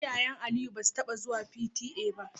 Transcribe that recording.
Iyayen Aliyu basu taba zuwa P.T.A ba.